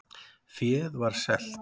Féð var selt